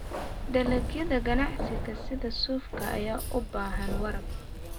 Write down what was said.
Dalagyada ganacsiga sida suufka ayaa u baahan waraab.